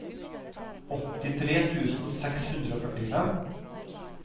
åttitre tusen seks hundre og førtifem